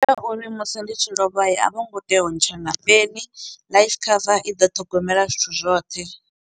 Ndi ya uri musi ndi tshi lovha a vho ngo tea u ntsha na peni life cover i ḓo ṱhogomela zwithu zwoṱhe.